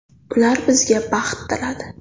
Ular bizga baxt tiladi.